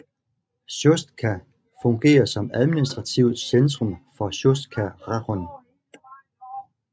Sjostka fungerer som administrativt centrum for Sjostka rajon